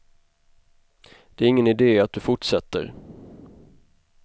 Det är ingen idé att du fortsätter.